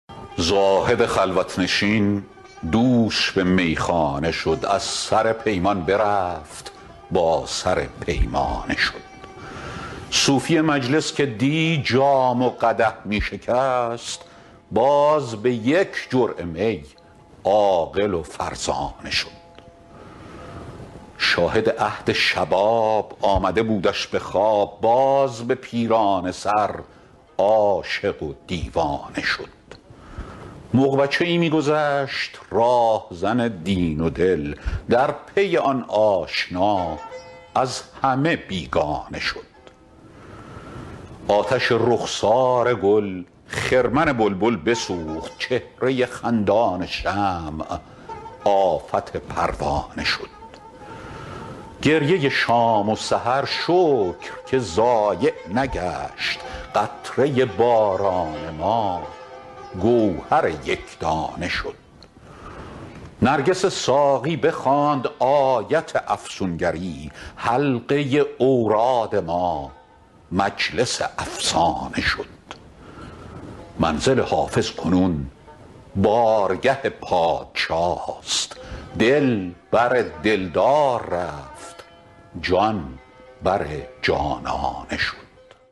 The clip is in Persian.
زاهد خلوت نشین دوش به میخانه شد از سر پیمان برفت با سر پیمانه شد صوفی مجلس که دی جام و قدح می شکست باز به یک جرعه می عاقل و فرزانه شد شاهد عهد شباب آمده بودش به خواب باز به پیرانه سر عاشق و دیوانه شد مغ بچه ای می گذشت راهزن دین و دل در پی آن آشنا از همه بیگانه شد آتش رخسار گل خرمن بلبل بسوخت چهره خندان شمع آفت پروانه شد گریه شام و سحر شکر که ضایع نگشت قطره باران ما گوهر یک دانه شد نرگس ساقی بخواند آیت افسون گری حلقه اوراد ما مجلس افسانه شد منزل حافظ کنون بارگه پادشاست دل بر دل دار رفت جان بر جانانه شد